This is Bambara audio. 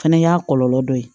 Fɛnɛ y'a kɔlɔlɔ dɔ ye